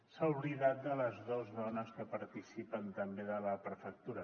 s’ha oblidat de les dues dones que participen també de la prefectura